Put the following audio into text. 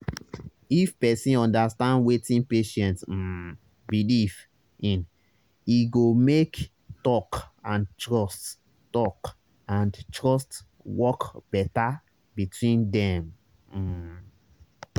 if person understand wetin patient um believe in e go make talk and trust talk and trust work better between dem. um